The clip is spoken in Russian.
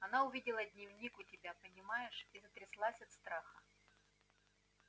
она увидела дневник у тебя понимаешь и затряслась от страха